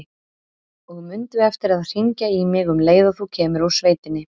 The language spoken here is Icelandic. Og mundu eftir að hringja í mig um leið og þú kemur úr sveitinni.